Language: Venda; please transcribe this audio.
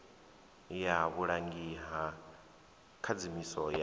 ya vhulangi ha khadzimiso ya